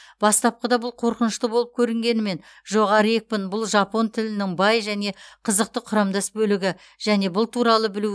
бастапқыда бұл қорқынышты болып көрінгенімен жоғары екпін бұл жапон тілінің бай және қызықты құрамдас бөлігі және бұл туралы білу өте